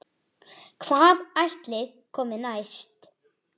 Hvað ætli komi næst?